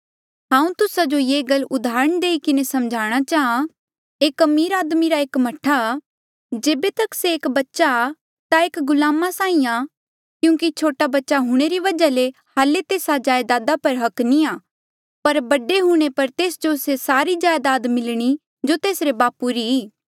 हांऊँ तुस्सा जो ये गल उदाहरणा देईं किन्हें समझाणा चाहां एक अमीर आदमी रा एक मह्ठा जेबे तक से एक बच्चा एक गुलामा साहीं आ क्यूंकि छोटा बच्चा हूंणे री वजहा ले हाल्ले तेस्सा जायदादा पर हक नी आ पर बडे हूंणे पर तेस जो से सारी जायदाद मिलणी जो तेसरे बापू री